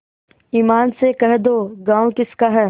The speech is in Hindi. ईमान से कह दो गॉँव किसका है